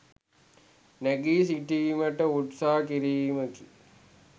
නැගී සිටීමට උත්සාහ කිරීමකි.